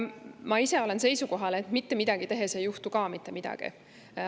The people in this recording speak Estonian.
Ma ise olen seisukohal, et mitte midagi tehes ka ei juhtu mitte midagi.